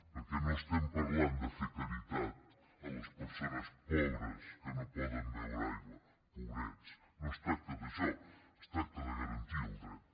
perquè no estem parlant de fer caritat a les persones pobres que no poden beure aigua pobrets no es tracta d’això es tracta de garantir el dret